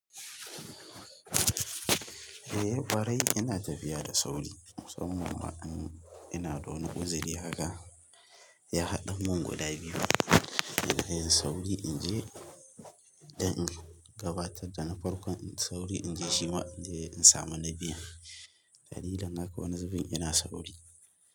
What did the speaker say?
Eh ƙwarai ina tafiya da sauri musamman ma ina da wani uzuri haka ya haɗa mun guda biyu, sai dai in yi sauri in je dan in gabatar da na farkon sauri in je shima in samu na biyun. Dalilin haka wani zubin yana sa sauri.